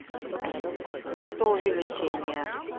фотоувеличение